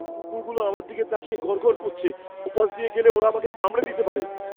কুকুরগুলো আমার দিকে তাকিয়ে গরগর করছে। ওপাশ দিয়ে গেলে ওরা আমাকে কামড়ে দিতে পারে।